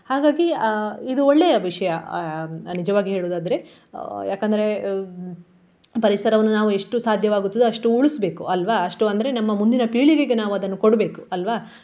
ಹಾಗಾಗಿ ಅಹ್ ಇದು ಒಳ್ಳೆಯ ವಿಷಯ ಅಹ್ ನಿಜವಾಗಿ ಹೇಳುವುದಾದ್ರೆ. ಯಾಕಂದ್ರೆ ಪರಿಸರವನ್ನು ನಾವು ಎಷ್ಟು ಸಾಧ್ಯವಾಗುತ್ತದೋ ಅಷ್ಟು ಉಳಿಸ್ಬೇಕು ಅಲ್ವಾ. ಅಷ್ಟು ಅಂದ್ರೆ ನಮ್ಮ ಮುಂದಿನ ಪೀಳಿಗೆಗೆ ನಾವು ಅದನ್ನು ಕೊಡ್ಬೇಕು ಅಲ್ವಾ.